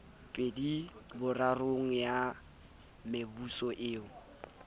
pedi borarong ya mebuso eo